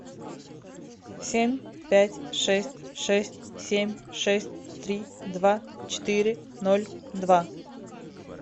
семь пять шесть шесть семь шесть три два четыре ноль два